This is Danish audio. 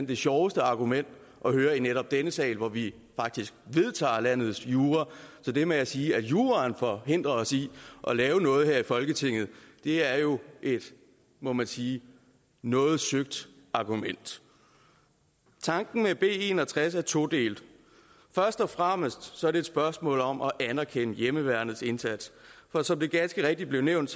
det sjoveste argument at høre i netop denne sal hvor vi faktisk vedtager landets jura så det med at sige at juraen forhindrer os i at lave noget her i folketinget er jo må man sige et noget søgt argument tanken med b en og tres er todelt først og fremmest er det et spørgsmål om at anerkende hjemmeværnets indsats for som det ganske rigtigt blev nævnt